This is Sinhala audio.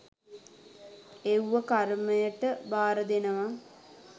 එව්ව කර්මයට භාරදෙනව